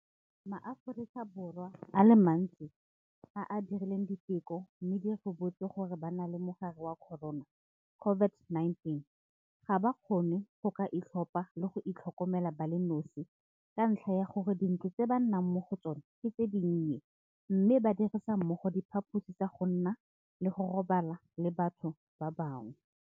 MaAforika Borwa a le mantsi a a dirileng diteko mme di ribotse gore ba na le mogare wa corona COVID-19 ga ba kgone go ka itlhopha le go itlhokomela ba le nosi ka ntlha ya gore dintlo tse ba nnang mo go tsona ke tse dinnye mme ba dirisa mmogo diphaposi tsa go nna le go robala le batho ba bangwe.